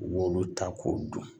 U b'olu ta k'o dun